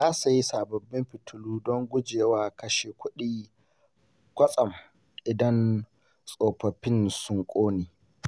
Na sayi sababbin fitilu don gujewa kashe kuɗi kwatsam idan tsofaffin sun ƙone.